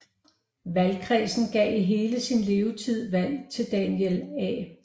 Valgkredsen gav i hele sin levetid valg til Daniel A